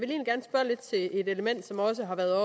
element som også har været